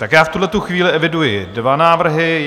Tak já v tuhletu chvíli eviduji dva návrhy.